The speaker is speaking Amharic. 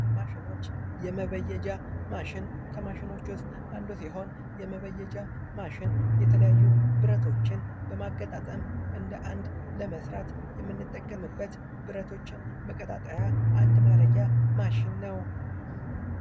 ከማሸኖች ውስጥ አንዱ ሲሆን የመበየጃንት ማሽን የተለያዩ ብረቶችን ለማገጣጠም ለመስራት የምንጠቀምበት በረቶችን መገጣጠሚያ ማሽን ነው፡፡